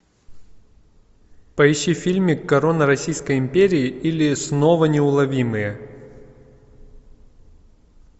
поищи фильмик корона российской империи или снова неуловимые